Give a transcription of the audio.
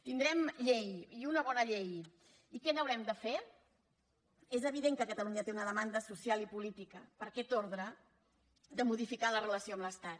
tindrem llei i una bona llei i què n’haurem de fer és evident que catalunya té una demanda social i política per aquest ordre de modificar la relació amb l’estat